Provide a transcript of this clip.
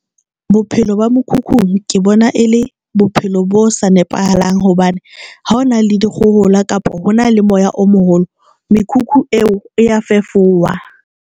Bophelo ba mokhukhung ke bona e le bophelo bo sa nepahalang, hobane ha o na le dikgohola kapa ho na le moya o moholo, mekhukhu eo e ya fefowa.